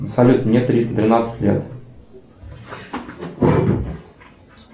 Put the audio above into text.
салют мне тринадцать лет